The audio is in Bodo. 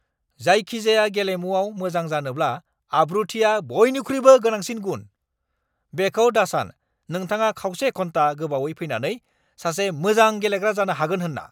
जायखिजाया गेलेमुआव मोजां जानोब्ला आब्रुथिआ बइनिख्रुइबो गोनांसिन गुन! बेखौ दासान नोंथाङा खावसे घन्टा गोबावै फैनानै सासे मोजां गेलेग्रा जानो हागोन होन्ना!